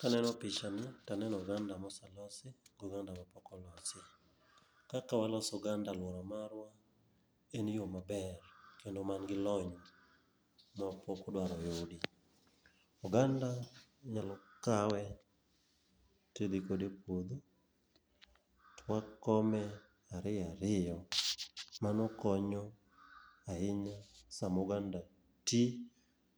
Kaneno picha ni, taneno oganda moselosi, go ganda mapok olosi. Kaka waloso oganda lworo marwa, en yo maber kendo manigi lony mapok odwar oyudi. Oganda inyalo kawe tidhi kode e puodho, twa kome ariyo ariyo, mano konyo ahinya sama oganda ti